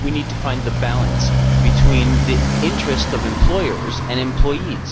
I think we need to find the balance between the interests of employers and employees.